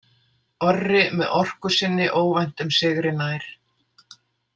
Orri með orku sinni óvæntum sigri nær.